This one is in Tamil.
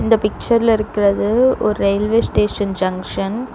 இந்த பிக்சர்ல இருக்குறது ஒர் ரெயில்வே ஸ்டேஷன் ஜங்ஷன் .